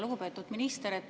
Lugupeetud minister!